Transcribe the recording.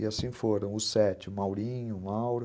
E assim foram os sete, o Maurinho, o Mauro.